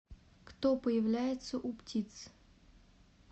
кто появляется у птиц